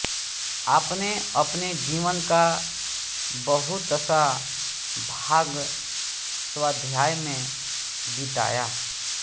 आपने अपने जीवन का बहुतसा भाग स्वाध्याय में बिताया